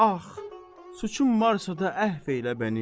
Ah, suçum varsa da əfv elə məni.